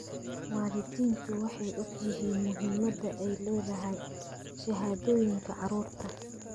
Waalidiintu waxay og yihiin muhiimadda ay leedahay shahaadooyinka carruurta.